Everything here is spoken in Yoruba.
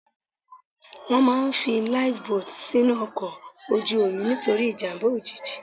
Wọ́n máà ń fi Life boat sínú ọkọ̀ ojú omi nítorí ìjàmbá òjijì.